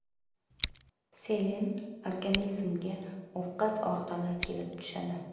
Selen organizmga ovqat orqali kelib tushadi.